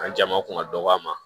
An jama kun ka dɔgɔn a ma